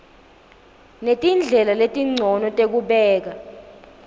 netindlela letincono tekubeka